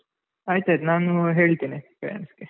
ಆಯ್ತಾಯ್ತು ನಾನು ಹೇಳ್ತೇನೆ parents ಗೆ.